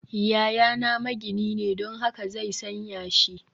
Yayana magini ne, don haka zai san yashi